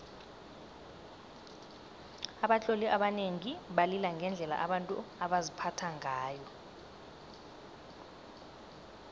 abatloli abanengi balila ngendlela abantu baziphatha ngayo